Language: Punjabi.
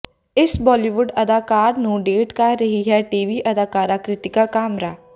ਇਸ ਬਾਲੀਵੁੱਡ ਅਦਾਕਾਰ ਨੂੰ ਡੇਟ ਕਰ ਰਹੀ ਹੈ ਟੀਵੀ ਅਦਾਕਾਰਾ ਕ੍ਰਿਤਿਕਾ ਕਾਮਰਾ